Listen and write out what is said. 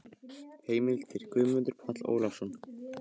Heimildir: Guðmundur Páll Ólafsson.